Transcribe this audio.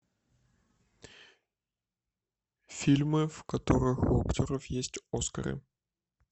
фильмы в которых у актеров есть оскары